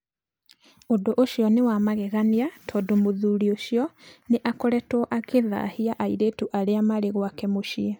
"Ũndũ ũcio nĩ wa magegania tondũ mũthuri ũcio nĩ akoretwo akĩthahia airĩtu arĩa marĩ gwake mũciĩ.